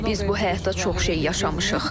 Biz bu həyatda çox şey yaşamışıq.